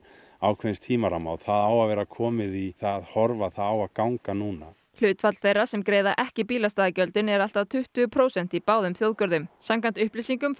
ákveðins tímaramma það á að vera komið í það horf að það á að ganga núna hlutfall þeirra sem greiða ekki bílastæðagjöldin er allt að tuttugu prósent í báðum þjóðgörðum samkvæmt upplýsingum